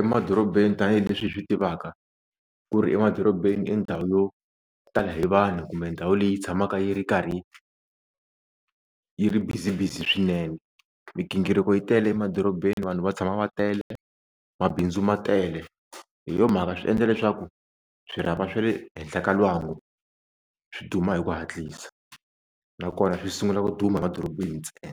emadorobeni tanihileswi hi swi tivaka ku ri emadorobeni i ndhawu yo tala hi vanhu kumbe ndhawu leyi tshamaka yi ri karhi yi ri busy busy swinene migingiriko yi tele emadorobeni vanhu va tshama va tele mabindzu ma tele hi yo mhaka swi endla leswaku swirhapa swa le henhla ka lwangu swi duma hi ku hatlisa nakona swi sungula ku duma madorobeni ntsena.